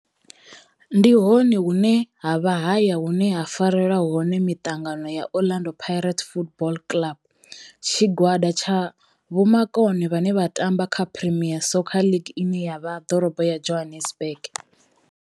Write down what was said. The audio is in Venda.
Ndi hone hune havha haya hune ha farelwa hone mitangano ya Orlando Pirates Football Club. Tshigwada tsha vhomakone vhane vha tamba kha Premier Soccer League ine ya vha ḓorobo ya Johannesburg.